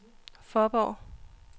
Fåborg